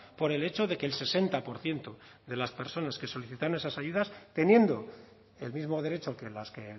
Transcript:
por el hecho de que el sesenta por ciento de las personas que solicitaron esas ayudas teniendo el mismo derecho que las que